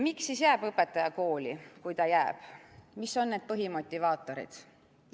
Miks siis jääb õpetaja kooli, kui ta jääb, mis on need põhimotivaatorid?